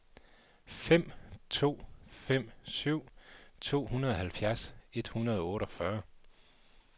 fem to fem syv tooghalvfjerds et hundrede og otteogfyrre